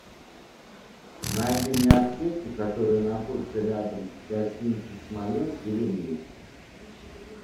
найди мне аптеки которые находятся рядом с гостиницей смоленск или в ней